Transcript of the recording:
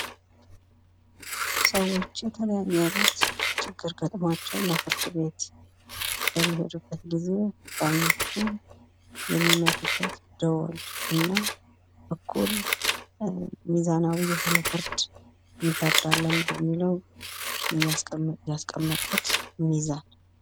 ሰዎች የተለያዬ አይነት ችግር ገጥሟቸው እና ፍርድ ቤት በሚሄዱበት ጊዜ ዳኞቹ የሚመቱበት ደወል እና እኩል ሚዛናዊ የሆነ ፍርድ እንፈርዳለን በሚለው ያስቀመጡት ሚዛን ነው።